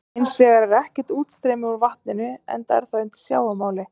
Hins vegar er ekkert útstreymi úr vatninu enda er það undir sjávarmáli.